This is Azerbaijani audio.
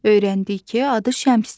Öyrəndik ki, adı Şəmsdir.